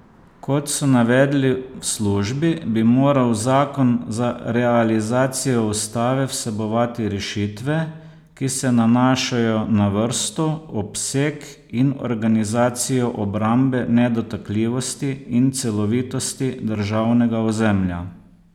Kot so navedli v službi, bi moral zakon za realizacijo ustave vsebovati rešitve, ki se nanašajo na vrsto, obseg in organizacijo obrambe nedotakljivosti in celovitosti državnega ozemlja.